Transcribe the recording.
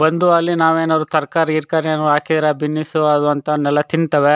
ಬಂದು ಅಲ್ಲಿ ನಾವೇನಾರು ತರಕಾರಿ ಗೀರಕಾರಿ ಏನಾರು ಹಾಕಿರೆ ಬಿನ್ನಿಸು ಅದು ಅಂತವನ್ನೆಲ್ಲಾ ತಿಂತವೆ.